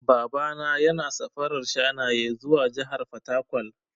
Baba na yana safarar shanaye zuwa jahar fataƙwal.